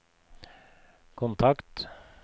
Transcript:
kontakt